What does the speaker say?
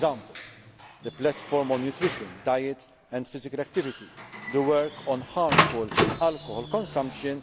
of approaches. For example the Platform on nutrition, diet and physical activity the work on harmful alcohol